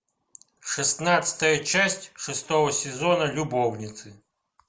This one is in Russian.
шестнадцатая часть шестого сезона любовницы